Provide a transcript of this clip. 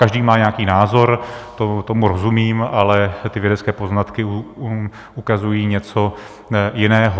Každý má nějaký názor, tomu rozumím, ale ty vědecké poznatky ukazují něco jiného.